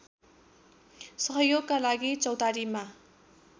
सहयोगका लागि चौतारीमा